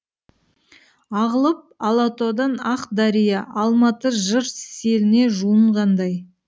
ағылып алатаудан ақ дария алматы жыр селіне жуынғандай